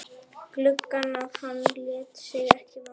gluggann að hann lét sig ekki vanta.